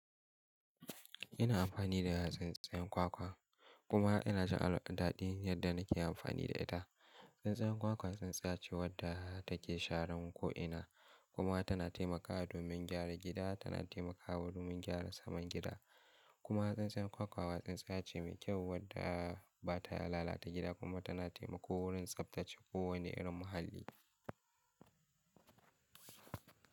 Ina amfani da tsinstiyan kwakwa kuma ina jin daɗin yadda nake amfani da ita. Tsintsiyan kwakwa tsintsiya ce wadda take sharan ko'ina kuma tana taimakawa domin gyaran gida, kuma tana taimakawa domin gyara saman gida. Kuma tsintsiyan kwakwa tsintsiya ce mai kyau wadda ba ta lalata gida kuma tana taimako wurin tsaftace kowane irin muhalli.